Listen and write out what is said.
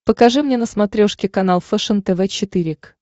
покажи мне на смотрешке канал фэшен тв четыре к